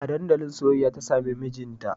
A dandalin soyayya ta samu mijinta